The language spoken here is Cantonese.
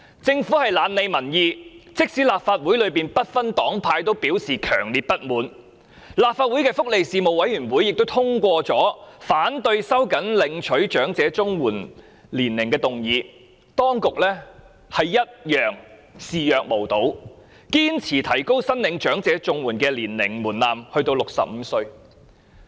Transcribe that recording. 政府懶理民意，即使立法會內不同黨派都表示強烈不滿，立法會福利事務委員會亦通過了反對收緊申領長者綜合社會保障援助年齡的議案，當局仍然視若無睹，堅持提高申領長者綜援的年齡門檻至65歲。